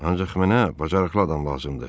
Ancaq mənə bacarıqlı adam lazımdır.